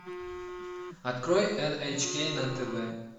открой эн эйч кей на тв